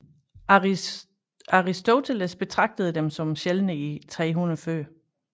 Aristoteles betragtede dem som sjældne i 300 f